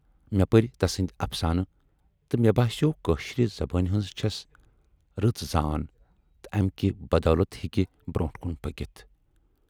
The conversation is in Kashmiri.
مے پٔرۍ تسٕندۍ افسانہٕ تہٕ مے باسیوو کٲشرِ زبٲنۍ ہٕنز چھَس رٕژ زان تہٕ اَمہِ کہِ بدولتہٕ ہیکہِ برونٹھ کُن پٔکِتھ۔